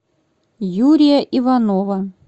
юрия иванова